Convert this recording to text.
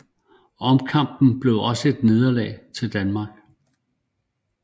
Omkampen blev også et nederlag til Danmark